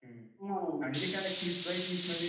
आणि ते काय कीस बाई कीस म्हणजे काय झिम्मा का?